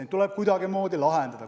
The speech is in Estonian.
Neid tuleb kuidagimoodi lahendada.